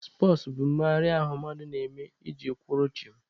Spọtsụ bụ mmegharị ahụ mmadụ na-eme iji kwụrụ chịm.